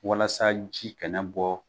Walasa ji kana bɔ